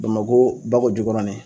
Bamakɔ bako jikɔrɔni